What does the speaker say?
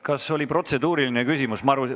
Kas on protseduuriline küsimus?